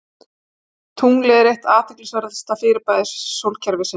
Tunglið er eitt athyglisverðasta fyrirbæri sólkerfisins.